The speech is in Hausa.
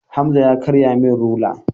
Hamza ya karya min rula.